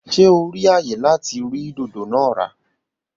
Ṣe o ri ayé láti rí dodo naa ra?